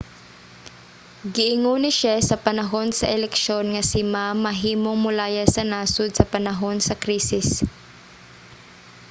giingon ni hsieh sa panahon sa eleksyon nga si ma mahimong molayas sa nasod sa panahon sa krisis